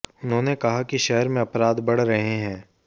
उन्होंने कहा कि शहर में अपराध बढ़ रहे हैं